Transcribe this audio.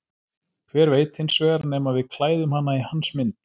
Hver veit hins vegar nema við klæðum hana í hans mynd.